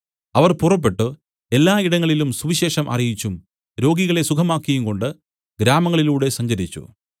അവർ പുറപ്പെട്ടു എല്ലാ ഇടങ്ങളിലും സുവിശേഷം അറിയിച്ചും രോഗികളെ സുഖമാക്കിയുംകൊണ്ടു ഗ്രാമങ്ങളിലൂടെ സഞ്ചരിച്ചു